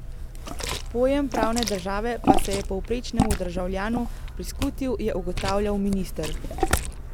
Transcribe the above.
Pojem pravne države pa se je povprečnemu državljanu priskutil, je ugotavljal minister.